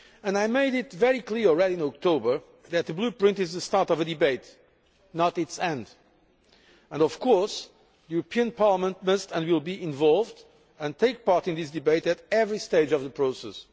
I made it very clear last October that the Blueprint is the start of a debate and not its end and, of course, the European Parliament must and will be involved and take part in this debate at every stage of the process.